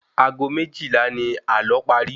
Ago méjìlá ni àlọ́ pari